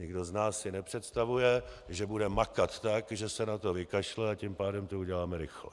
Nikdo z nás si nepředstavuje, že bude makat tak, že se na to vykašle, a tím pádem to uděláme rychle.